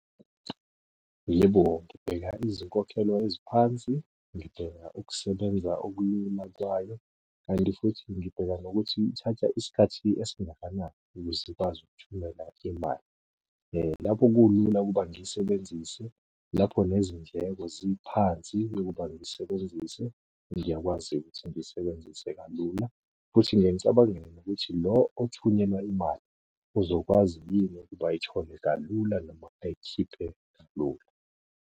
Yebo, ngibheka izinkokhelo eziphansi, ngibheka ukusebenza , kanti futhi ngibheka nokuthi ithatha isikhathi esingakanani ukuze ikwazi ukuthumela imali. Lapho kulula ukuba ngiyisebenzise. Lapho nezindleko ziphansi yokuba ngisebenzise, ngiyakwazi ukuthi ngiyisebenzise kalula, futhi ngiye ngicabangele nokuthi lo othunyelwa imali, uzokwazi yini ukuba ayithole kalula noma ayikhiphe kalula.